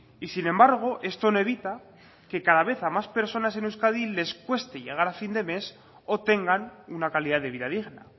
y sin embargo esto no evita que cada vez a más personas en euskadi les cueste llegar a fin de mes o tengan una calidad de vida digna